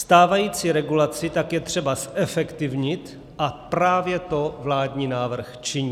Stávající regulaci tak je třeba zefektivnit a právě to vládní návrh činí.